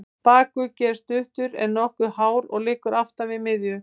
Bakuggi er stuttur, en nokkuð hár og liggur aftan við miðju.